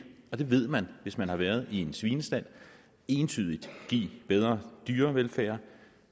og det ved man hvis man har været i en svinestald entydigt give bedre dyrevelfærd